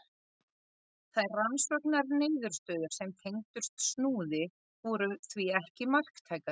Þær rannsóknarniðurstöður sem tengdust Snúði voru því ekki marktækar.